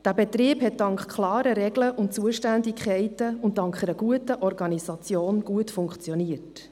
Dieser Betrieb hat dank klarer Regeln und Zuständigkeiten und dank einer guten Organisation gut funktioniert.